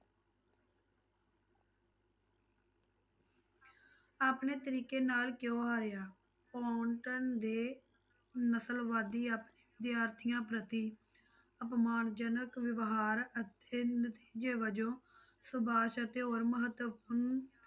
ਆਪਣੇ ਤਰੀਕੇ ਨਾਲ ਕਿਉਂ ਹਾਰਿਆ ਪੋਨਟਨ ਦੇ ਨਸ਼ਲਵਾਦੀ ਵਿਦਿਆਰਥੀਆਂ ਪ੍ਰਤੀ ਅਪਮਾਨ ਜਨਕ ਵਿਵਹਾਰ ਅਤੇ ਨਤੀਜੇ ਵਜੋਂ ਸੁਭਾਸ ਅਤੇ ਹੋਰ ਮਹੱਤਵਪੂਰਨ